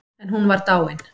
En hún var dáin.